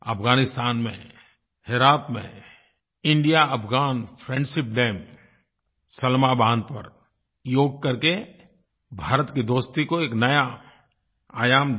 अफगानिस्तान में हेरात में India Afghan friendship dam Salma बाँध पर योग कर के भारत की दोस्ती को एक नया आयाम दिया